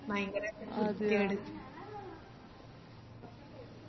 ഭയങ്കര വൃത്തികേട്